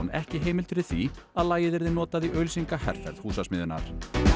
ekki heimild fyrir því að lagið yrði notað í auglýsingaherferð Húsasmiðjunnar